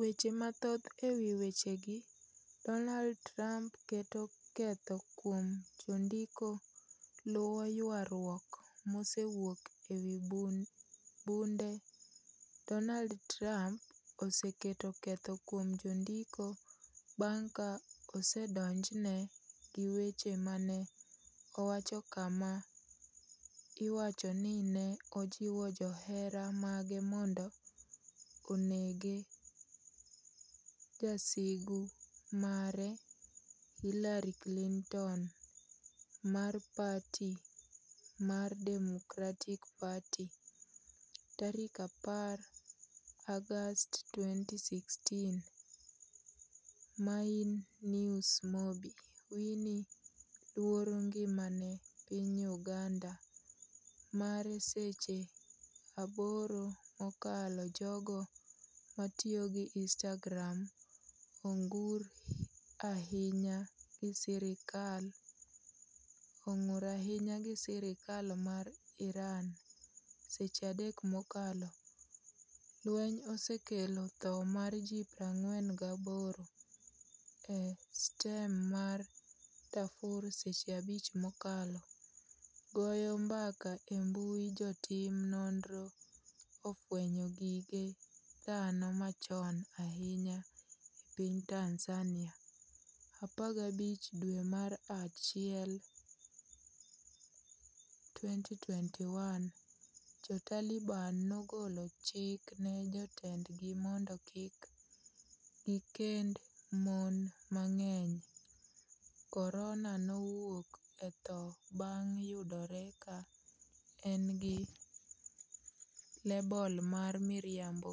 Weche mathoth ewi wechegi Donald Trump keto ketho kuom jondiko luwo ywarruok masewuoke ewi bunde Donald Trump oseketo ketho kuom jondiko bang' ka osedonjne gi weche mane owacho kama iwacho ni ne ojiw johera mage mondo onege jasigu mare Hillary Clinton mar parti mar Democratic Party 10 Aug 2016 Main news Bobi. Wine ‘luoro ngimane’ piny Uganda mare Seche 8 mokalo Jogo matiyo gi Instagram ong’ur ahinya gi sirkal mar Iran Seche 3 mokalo Lweny osekelo tho mar ji 48 e stem mar Darfur Seche 5 mokalo Goyo mbaka e mbui Jotim nonro ofwenyo gige dhano machon ahinya e piny Tanzania 15 dwe mar achiel 2021 Jo-Taliban nogolo chik ne jotendgi mondo kik gikend mon mang’eny corona' nowuok e tho bang' yudore ka en gi lebel mar miriambo